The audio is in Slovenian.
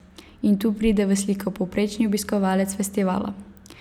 In tu pride v sliko povprečni obiskovalec festivala.